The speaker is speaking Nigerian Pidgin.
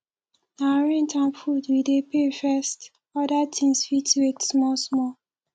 na rent and food we dey pay first oda tins fit wait small small